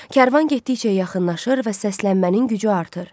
Kərvan getdikcə yaxınlaşır və səslənmənin gücü artır.